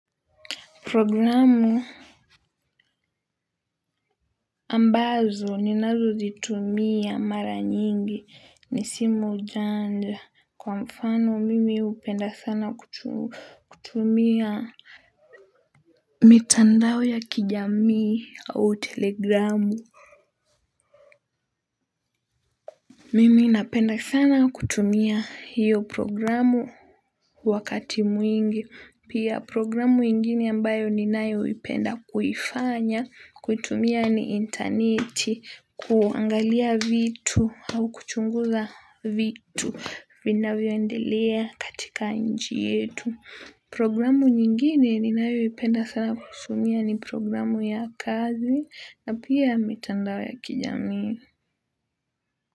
Programu ambazo ni nazo zitumia mara nyingi ni simu janja kwa mfano mimi hupenda sana kutumia mitandao ya kijamii au telegramu mimi napenda sana kutumia hiyo programu wakati mwingi. Pia programu ingine ambayo ninayo ipenda kuifanya, kuitumia ni internet, kuangalia vitu au kuchunguza vitu vinavyoendelea katika nchi yetu. Programu nyingine ninayoipenda sana kutumia ni programu ya kazi na pia metandao ya kijamii.